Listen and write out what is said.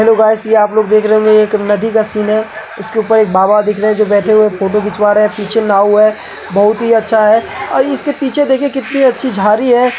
Hello guys यह आप लोग देख रहे होंगे यह एक नदी का सीन है। इसके ऊपर एक बाबा दिख रहे है जो बैठे हुए फोटो खिंचवा रहे है। पीछे नांव है बोहोत ही अच्छा है और इसके पीछे देखिए कितनी अच्छी झाड़ी है।